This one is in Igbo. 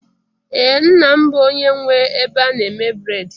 Ee, nna m bụ onye nwe ebe a na-eme bred